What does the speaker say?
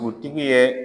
Dugutigi ye